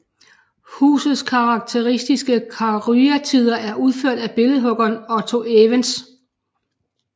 Husets karakteristiske karyatider er udført af billedhuggeren Otto Evens